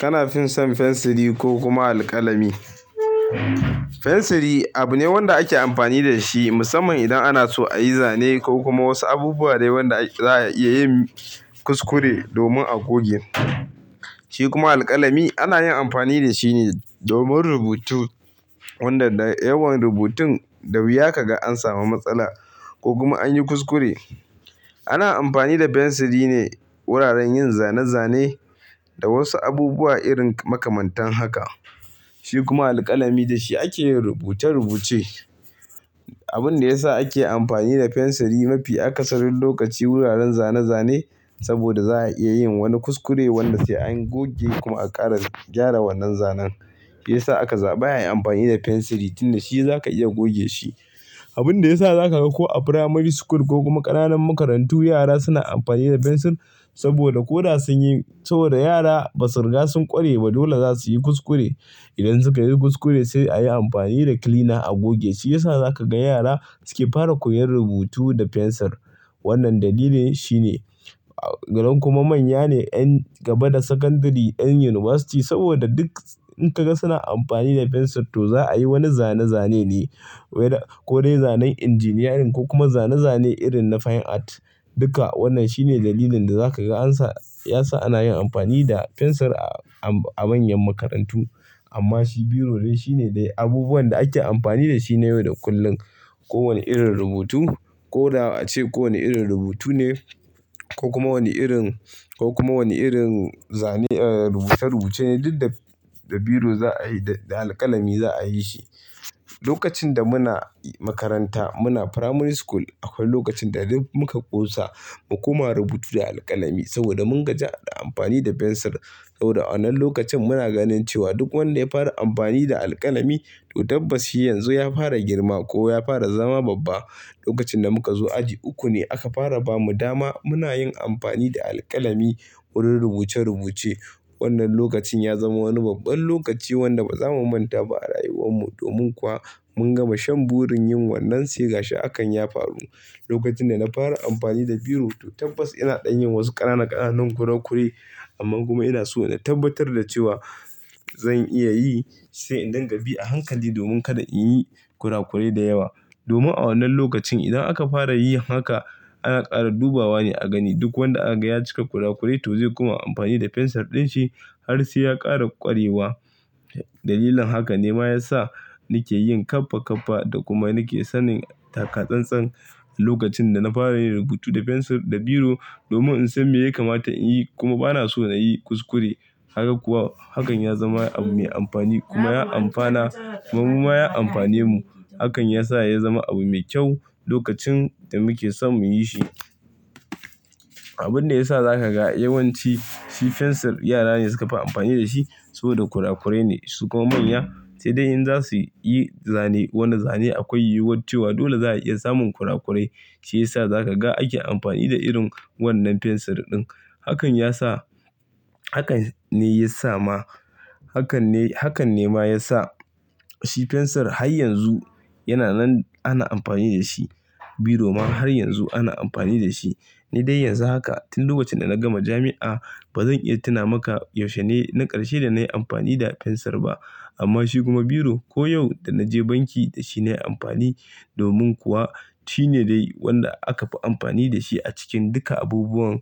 Kana fin son fensiri ko kuma alƙalami? Fensiri abu ne wanda ake amfani da shi musamman idan ana so a yi zane ko kuma wasu abubuwa dai wanda za a iya yin kuskure domin a goge. Shi kuma alƙalami ana yin amfani da shi ne domin rubutu wanda da yawan rubutun da wuya ka ga an samu matsala ko kuma an yi kuskure. Ana amfani da fensiri ne wuraren yin zane-zane da wasu abubuwa irin makamantan haka. Shi kuma alƙalami da shi ake rubuce-rubuce. Abun da ya sa ake amfani da fensiri mafi akasarin lokaci wuraren zane-zane saboda za a iya yin wani kuskure wanda sai an goge kuma a ƙara gyara wannan zanen. Ya sa aka zaɓa a yi amfani da fensiri tun da shi za ka iya goge shi. Abun da ya sa za ka ga ko a primary school ko kuma ƙananan makarantu yara suna amfani da fensir saboda ko da sun yi, saboda yara ba sirra sun ƙware ba dole za su yi kuskure. Idan suka yi kuskure sai a yi amfani da cleaner a goge, shi ya sa za ka ga yara suke fara koyon rubutu da fensir. Wannan dalilin shi ne. Galan kuma manya ne, yan gaba da secondary, yan yunivasiti saboda duk in ka ga suna amfani da fensir to za a yi wani zane-zane ne. Wai da-- ko dai zanen injiniyarin ko kuma zane-zane irin na fine art. Duka wannan shine dalilin da za ka ga an sa-- ya sa ana yin amfani da fensir a manyan makarantu. Amma shi biro dai shine dai abubuwan da ake amfani da shi ne yau da kullum. Ko wane irin rubutu ko da a ce ko wane irin rubutu ne ko kuma wani irin, ko kuma wani irin zane, rubuce-rubuce ne duk da biro za a yi da alƙalami za a yi shi. Lokacin da muna makaranta, muna primary school akwai lokacin da duk muka ƙosa mu kuma rubutu da alƙalami saboda mun gaji a yi amfani da fensir. Saboda a wannan lokacin muna ganin cewa duk wanda ya fara amfani da alƙalami to tabbas shi yanzu ya fara girma ko ya fara zama babba. Lokacin da muka zo aji uku ne aka fara ba mu dama muna yin amfani da alƙalami wurin rubuce-rubuce. Wannan lokacin ya zama wani babban lokaci wanda ba za mu manta ba a rayuwar mu domin kuwa mun gama shan burin yin wannan sai gashi akan ya faru. Lokacin da na fara amfani da biro to tabbas ina ɗan yin wasu ƙananan ƙananun kurakure amma kuma ina so na tabbatar da cewa zan iya yi sai in dingabi a hankali domin kada in yi kurakurai da yawa. Domin a wannan lokacin idan aka fara yin haka ana ƙara dubawa ne a gani. Duk wanda aka ga ya cika kurakurai to zai kuma yi amfani da fensir ɗin shi har sai ya ƙara ƙwarewa. Dalilin haka ne ma ya sa ni ke yin ƙaffa-ƙaffa da kuma ni ke sanin taka-tsan-tsan lokacin da na fara yin rubutu da fensir da biro domin in san me ya kamata in yi kuma ba na so na yi kuskure. Kaga kuwa, hakan ya zama abu mai amfani kuma ya amfana, kuma muma ya amfane mu. Hakan ya sa ya zama abu mai kyau lokacin da muke son mu yi shi. Abun da ya sa za ka ga yawanci shi fensir yara ne suka fi amfani da shi saboda kurakurai ne su kuma manya sai dai in za su yi zane, wannan zane akwai yiwuwar cewa dole za a iya samun kurakurai. Shi ya sa za ka ga ake amfani da irin wannan fensir ɗin. Hakan ya sa, hakan ne ya sa ma, hakan ne, hakan ne ma ya sa shi fensir har yanzu yana nan ana amfani da shi. Biro ma har yanzu ana amfani da shi. Ni dai yanzu haka tun lokacin da na gama jami'a ba zan iya tuna maka yaushe ne na ƙarshe da na yi amfani da fensir ba. Amma shi kuma biro ko yau da na je banki da shi ne amfani domin kuwa shi ne dai wanda aka fi amfani da shi a cikin duka abubuwan,